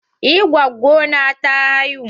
Eh, gwaggo na ta haihu.